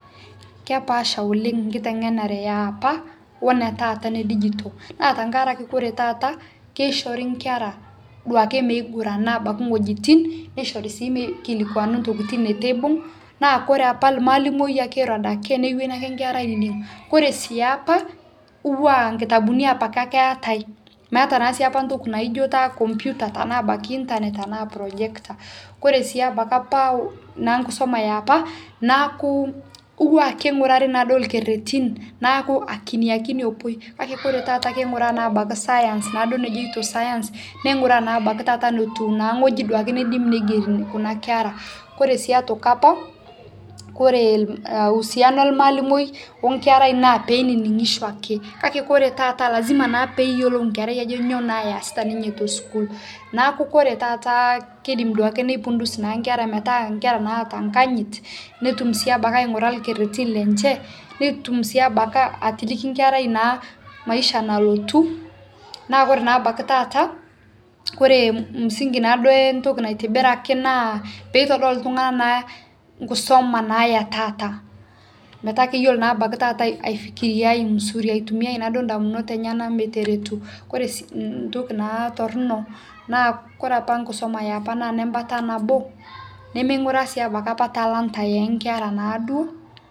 kepaasha oleng nkitengenare yaapa onataata edigitol naa tankarake kore taata keishorii duake nkera meigurana abaki nghojitin neishorii sii meikilikuana ntokitin netuu eibung naa kore apa lmaalimoi akee eiro adake newenii ake nkera ainining kore siapa kotuwaa nkitabuni apake ake eatai meata naa siapa ntoki naijo taa kompita tanaa abaki internet tanaa projector kore sii abaki apaa naa nkisoma eapa naaku kotuwaa keingurarii naaduo lkeretin naaku akini akini epuoi kakee kore taata keinguraa naa abaki science naaduo nejeito science neinguraa naa abakii taata notuu naa nghoji duake neidim neigeri kuna kera kore sii otoki apaa kore uhusiano ellmaalimoi o nkerai naa peininingisho ake kakee kore taata lazima naa peeyolou nkerai ajo nyo naa easita ninyee tosukuul naaku kore taata keidim duake neipundus naa nkera metaa nkera naata nkanyit notum si abaki ainguraa lkeretin lenshe netum sii abaki atiliki nkerai naa maisha nalotuu naa kore naa abaki taata kore msingi naaduo entoki naitibiraki naa peitodol ltungana naa lkusoma naa etaata metaa keyolo naa abaki taata aifikiriai muzuri aitumiyai naduo ndamunot enyanaa meteretuu kore sii ntoki naa tornoo kore apa nkisoma eapaa naa nembata naboo neimenguraa naa sii abaki apaa talanta enkeraa naaduo